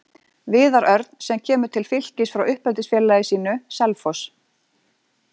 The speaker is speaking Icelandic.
Viðar Örn sem kemur til Fylkis frá uppeldisfélagi sínu, Selfoss.